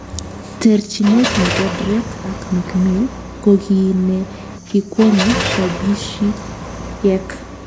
Terchinet nebo Drake ak Mikmill ko kigii ne kikwong'e shabikiek